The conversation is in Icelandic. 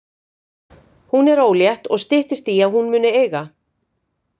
Hún er ólétt og styttist í að hún muni eiga.